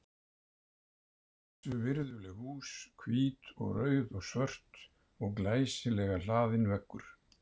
Við erum allavegana mættar í leikinn til að reyna að spila fótbolta.